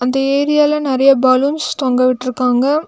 இந்த ஏரியால நறையா பலூன்ஸ் தொங்கவிட்ருக்காங்க.